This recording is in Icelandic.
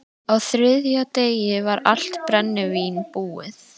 Á þriðja degi var allt brennivín búið.